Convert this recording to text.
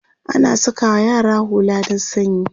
ana sakawa yara hulla dan sanyi